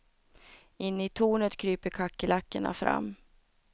Inne i tornet kryper kackerlackorna fram.